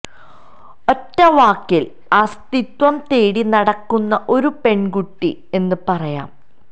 ഒറ്റ വാക്കിൽ അസ്തിത്വം തേടി നടക്കുന്ന ഒരു പെൺകുട്ടി എന്ന് പറയാം